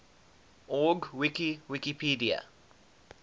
org wiki wikipedia